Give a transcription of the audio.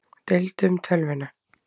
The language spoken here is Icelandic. Deildu um tölvuna